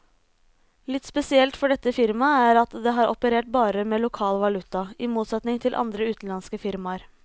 Litt spesielt for dette firmaet er at det har operert bare med lokal valuta, i motsetning til andre utenlandske firmaer.